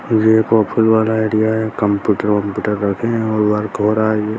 यह एक ऑफिस वाला एरिया है कंप्यूटर वम्पूटर और वर्क हो रहा है।